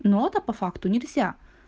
нота по факту нельзя